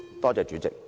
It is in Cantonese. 多謝代理主席。